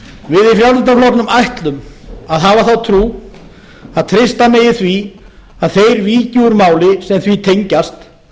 við í frjálsl ætlum að hafa þá trú að treysta megi því að þeir víki úr máli sem því tengjast